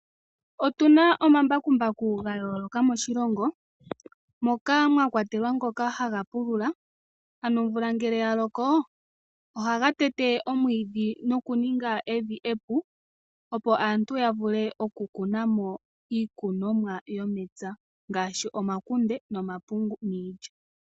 Otu na omambakumbaku gayooloka moshilongo moka mwa kwatelwa ngoka haga pulula ano omvula ngele ya loko ohaga tete omwiidhi nokuninga evi epu opo aantu ya vule okukuna mo iikunomwa yomepya ngaashi omakunde, omapungu niilya.